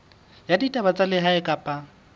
ya ditaba tsa lehae kapa